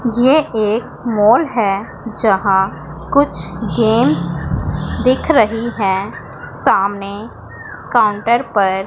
यह एक मॉल है जहां कुछ गेम्स दिख रही हैं सामने काउंटर पर--